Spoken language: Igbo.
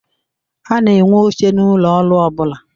A na-enwe oche n'ụlọ ọrụ ọbụla.